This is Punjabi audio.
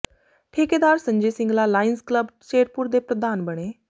ਠੇਕੇਦਾਰ ਸੰਜੇ ਸਿੰਗਲਾ ਲਾਇਨਜ਼ ਕਲੱਬ ਸ਼ੇਰਪੁਰ ਦੇ ਪ੍ਰਧਾਨ ਬਣੇ